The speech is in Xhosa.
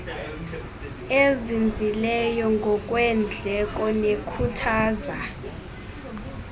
ezinzileyo ngokweendleko nekhuthaza